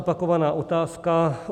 Opakovaná otázka.